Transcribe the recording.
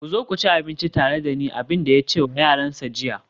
ku zo ku ci abinci tare da ni, abin da ya ce wa yaransa jiya